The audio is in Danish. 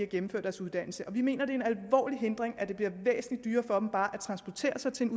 gennemføre deres uddannelse vi mener at det er en alvorlig hindring at det bliver væsentlig dyrere for dem bare at transportere sig til et